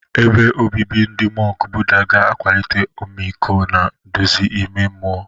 Ebe obibi ndị mọnk Buddha ga-akwalite ọmịiko na nduzi ime mmụọ.